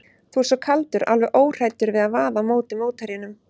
Þú ert svo kaldur, alveg óhræddur við að vaða á móti mótherjunum.